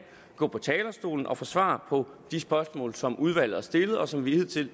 gå på talerstolen og give svar på de spørgsmål som udvalget har stillet og som vi hidtil